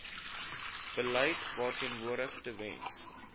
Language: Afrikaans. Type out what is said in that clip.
beleid verteenwoordig tewens